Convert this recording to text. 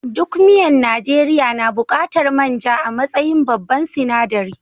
Duk miyan Najeriya na buƙatar man ja a matsayin babban sinaɗari.